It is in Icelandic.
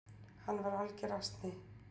Hann var alger asni!